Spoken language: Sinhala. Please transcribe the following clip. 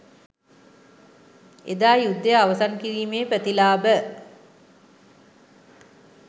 එදා යුද්ධය අවසන් කිරීමේ ප්‍රතිලාභ